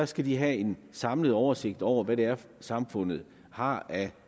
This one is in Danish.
skal have en samlet oversigt over hvad det er samfundet har af